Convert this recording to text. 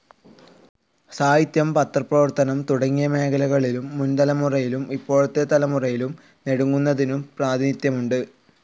സാഹിത്യം, പത്രപ്രവർത്തനം തുടങ്ങിയ മേഖലകളിലും മുൻ തലമുറയിലും ഇപ്പോഴത്തെ തലമുറയിലും നെടുംകുന്നത്തിനു പ്രാതിനിധ്യമുണ്ട്.